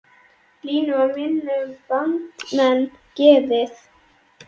Línu var minna um bandamenn gefið